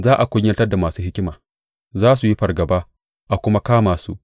Za a kunyatar da masu hikima; za su yi fargaba a kuma kama su.